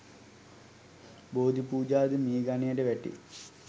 බෝධිපූජා ද මේ ගණයට වැටේ.